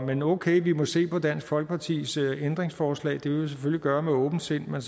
men okay vi må se på dansk folkepartis ændringsforslag det vil vi selvfølgelig gøre med åbent sind men